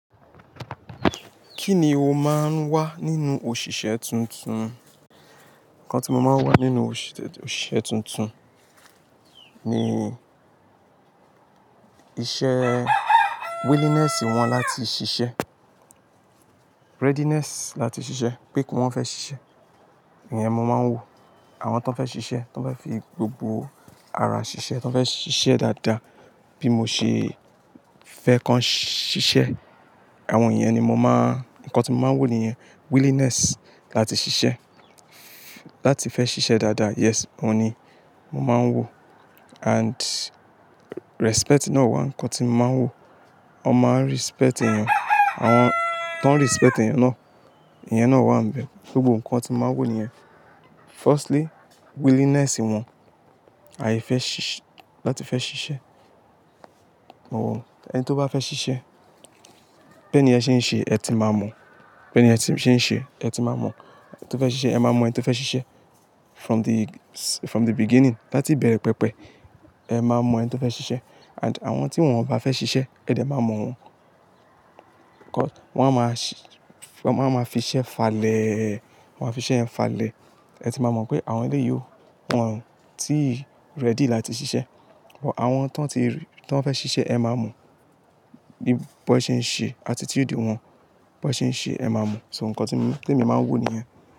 Kí ni o máa ń wá nínú òṣìṣẹ́ tuntun? Ǹkan tí mo máa ń wá nínú òṣìṣẹ́ tuntun ni iṣẹ́ willingness wọn láti ṣiṣẹ́. Readiness láti ṣiṣẹ́, pé kí wọ́n fẹ́ ṣiṣẹ́, ìyẹn mo máa ń wò. Àwọn ton fẹ́ ṣiṣẹ́, ton fẹ́ fi gbogbo ara ṣiṣẹ́, ton fẹ́ ṣiṣẹ́ dáadáa, bí mo ṣe fẹ́ kọ́n ṣiṣẹ́, àwọn ìyẹn ni mo máa-- ǹkan tí mo máa ń wò nìyẹn. Willingness láti ṣiṣẹ́, láti fẹ́ ṣiṣẹ́ dáadáa. Yes, òun ni mo máa ń wò. And respect náà wà ǹkan tí mo máa ń wò. Ọ maa n respect èèyàn, àwọn tó ń respect èèyàn náà, ìyẹn náà wà ń bẹ. Gbogbo ǹkan tí mo máa ń wò nìyẹn. Firstly, willingness wọn, àìfẹ́ ṣiṣẹ́, láti fẹ́ ṣiṣẹ́. Ẹni tó bá fẹ́ ṣiṣẹ́, bí ẹniyen ṣe ń ṣe, ẹ ti máa mọ̀. Bi ẹni yen ti n se ṣe eti ma mọ to fe ṣiṣe, e ma mo ẹni to fe ṣiṣe. From the, from the beginning, láti ìbẹ̀rẹ̀ pẹpẹ, ẹ máa mọ̀ ẹni tó fẹ́ ṣiṣẹ́. And àwọn tí wọ́n ò bá fẹ́ ṣiṣẹ́, ẹ̀ dẹ̀ máa mọ̀ wọ́n. Wọ́n á máa ṣi-- wọ́n á máa fi iṣẹ́ falẹ̀, wọ́n á fi iṣẹ́ yẹn falẹ̀. Ẹ ti máa mọ̀ pé àwọn ilé yíò wọ̀n tí ready láti ṣiṣẹ́. Ọ̀wọ́ àwọn tó ń ti rí, tó fẹ́ ṣiṣẹ́ ẹ máa mọ̀. Bí bo ṣe ń ṣe attitude wọn, bó ṣe ń ṣe ẹ máa mọ̀. So ǹkan tí mi, tí èmi máa ń wò nìyẹn.